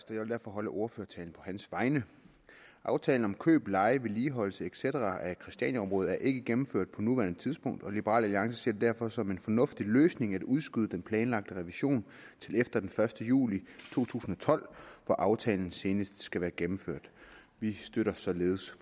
jeg vil derfor holde ordførertalen på hans vegne aftalen om køb leje vedligeholdelse et cetera af christianiaområdet er ikke gennemført på nuværende tidspunkt og liberal alliance ser det derfor som en fornuftig løsning at udskyde den planlagte revision til efter den første juli to tusind og tolv hvor aftalen senest skal være gennemført vi støtter således